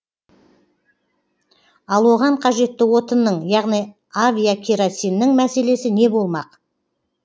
ал оған қажетті отынның яғни авиакеросиннің мәселесі не болмақ